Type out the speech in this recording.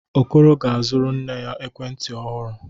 Okoro ga-azụrụ nne ya ekwentị ọhụrụ.